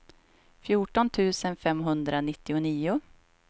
fjorton tusen femhundranittionio